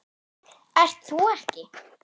Ert þú ekki